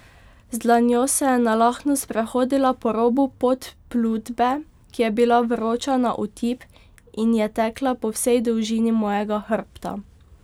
Z dlanjo se je nalahno sprehodila po robu podplutbe, ki je bila vroča na otip in je tekla po vsej dolžini mojega hrbta.